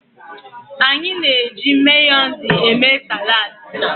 Anyị na-eji Mayonezi eme saladi.